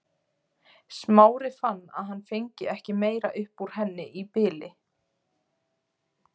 Smári fann að hann fengi ekki meira upp úr henni í bili.